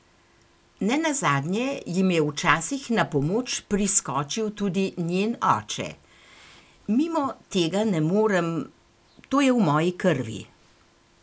Ne nazadnje jim je včasih na pomoč priskočil tudi njen oče: "Mimo tega ne morem, to je v moji krvi.